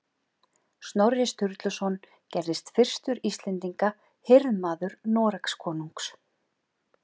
Snorri Sturluson gerðist fyrstur Íslendinga hirðmaður Noregskonungs